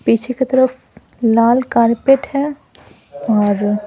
पीछे की तरफ लाल कारपेट है और--